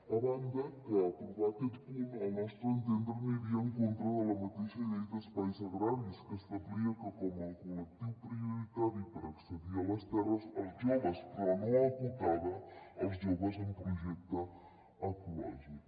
a banda que aprovar aquest punt al nostre entendre aniria en contra de la mateixa llei d’espais agraris que establia com a col·lectiu prioritari per accedir a les terres els joves però no acotava els joves amb projecte ecològic